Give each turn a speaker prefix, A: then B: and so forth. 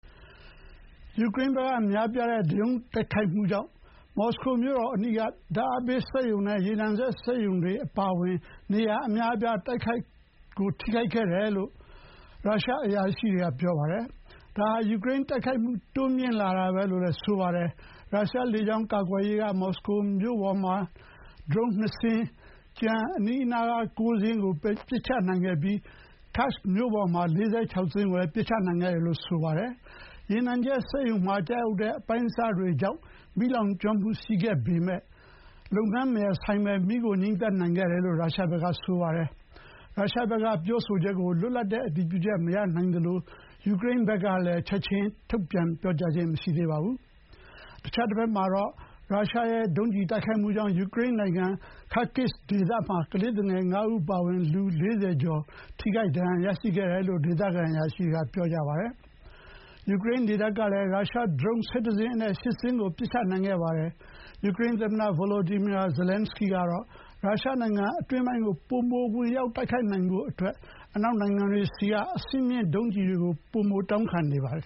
A: ယူကရိန်းဘက်က များပြားတဲ့ ဒရုန်းတိုက်ခိုက်မှုတွေကြောင့် မော်စကိုမြို့တော်အနီးက ဓာတ်အားပေး စက်ရုံနဲ့ ရေနံချက်စက်ရုံတွေအပါအဝင် နေရာအများအပြား ထိခိုက်ခဲ့တယ်လို့ ရုရှားအရာရှိတွေက ပြောပါတယ်။ ဒါဟာ ယူကရိန်းတိုက်ခိုက်မှု တိုးမြှင့်လာတာပဲလို့လည်း ဆိုပါတယ်။ ရုရှားလေကြောင်း ကာကွယ်ရေးက မော်စကိုမြို့ပေါ်မှာနှစ်စင်းနဲ့ ကျန်အနီးအနားက ၉ စင်းကို ပစ်ချနိုင်ခဲ့ပြီး Kursk မြို့ပေါ်မှာ ၄၆ စင်း ပစ်ချနိုင်ခဲ့တယ်လို့ ဆိုပါတယ်။ ရေနံချက်စက်ရုံတွေမှာ ကျရောက်တဲ့ အပိုင်းအစတွေကြောင့် မီးလောင်ကျွမ်းခဲ့ပေမဲ့ လုပ်ငန်းမရပ်ဆိုင်းဘဲ မီးကို ငြိမ်းသတ်နိုင်ခဲ့တယ်လို့ ရုရှားဘက်က ဆိုပါတယ်။ ရုရှားဘက်က ပြောဆိုချက်ကို လွတ်လပ်တဲ့ အတည်ပြုချက် မရနိုင်သလို ယူကရိန်းဘက်ကလည်း ချက်ချင်း ထုတ်ပြန်ပြောကြားတာ မရှိသေးပါဘူး။ အခြားတဘက်မှာတော့ ရုရှားဒုံးကျည်တိုက်ခိုက်မှုကြောင့် ယူကရိန်းနိုင်ငံ kharkis ဒေသမှာ ကလေးသူငယ် ၅ ဦးအပါအဝင် လူ ၄၀ ကျော် ဒဏ်ရာရရှိခဲ့တယ်လို့ ဒေသခံအရာရှိတွေက ဆိုပါတယ်။ ယူကရိန်းလေတပ်ကလည်း ရုရှားဒရုန်း ၁၁ စင်းအနက် ၈ စင်းကို ပစ်ချနိုင်ခဲ့ပါတယ်။ ယူကရိန်းသမ္မတ Volodymyr Zelensky ကတော့ ရုရှားနိုင်ငံအတွင်းပိုင်းကို ဝင်ရောက်တိုက်ခိုက်နိုင်အောင် အနောက်နိုင်ငံတွေဆီက အဆင့်မြင့် ဒုံးကျည်တွေကို ပိုမို တောင်းခံနေပါတယ်